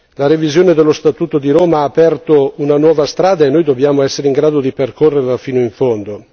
La revisione dello Statuto di Roma ha aperto una nuova strada e noi dobbiamo essere in grado di percorrerla fino in fondo.